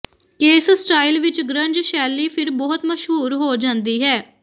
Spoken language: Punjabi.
ਕੇਸ ਸਟਾਈਲ ਵਿਚ ਗ੍ਰੰਜ ਸ਼ੈਲੀ ਫਿਰ ਬਹੁਤ ਮਸ਼ਹੂਰ ਹੋ ਜਾਂਦੀ ਹੈ